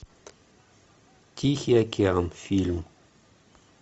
тихий океан фильм